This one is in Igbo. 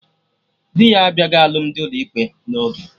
Dị ya abịaghị alụmdi ụlọ ikpe na oge